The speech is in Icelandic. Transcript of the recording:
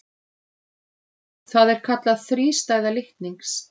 Það er kallað þrístæða litnings.